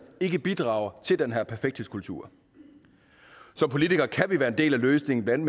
ikke bidrager til den her perfekthedskultur som politikere kan vi være en del af løsningen blandt